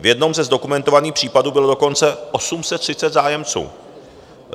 V jednom ze zdokumentovaných případů bylo dokonce 830 zájemců!